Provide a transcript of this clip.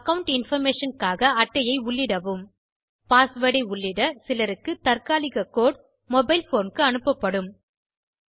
account information க்காக அட்டையை உள்ளிடவும் பாஸ்வேர்ட் ஐ உள்ளிட சிலருக்குத் தாற்காலிக கோடு மொபைல் போன் க்கு அனுப்பப்படும்